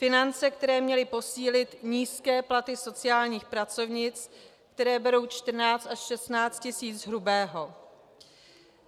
Finance, které měly posílit nízké platy sociálních pracovnic, které berou 14 až 16 tisíc hrubého.